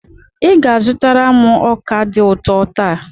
Ị ga-azụtara m ọka dị ụtọ taa.